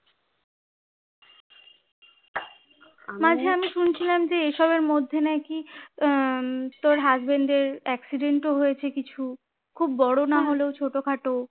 মাঝে আমি শুনছিলাম যে এইসবের মধ্যে নাকি আহ তোর husband এর accident ও হয়েছে কিছু খুব বড়ো নাহলেও ছোটোখাটো